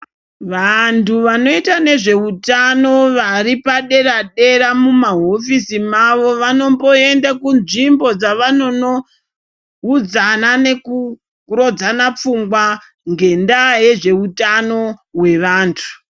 Vantu vanoita nezveutano varipadera dera mumahofisi mavo vonomboenda kunzvimbodzavanono udzana nekurodzana pfungwa ngendaa yezveutano hwevantu